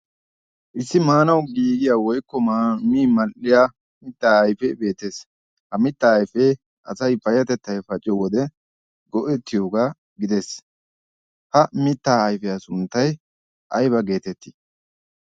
Issi maanawu giigiya woykko min mall"iya mittaa ayfee beettes. Ha ayfee asayi payyatettayi pacciyo wode go"ettiyogaa gides. Ha mittaa ayfiya sunttayi aybaa geetettii?